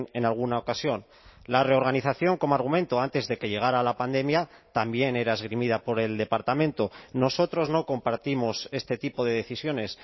en alguna ocasión la reorganización como argumento antes de que llegara la pandemia también era esgrimida por el departamento nosotros no compartimos este tipo de decisiones